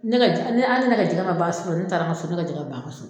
Ne ka jɛ ali ni ne ka jɛgɛ ma ban sufɛ ni ne taara an ka so ne ka jɛgɛ be ban an ka so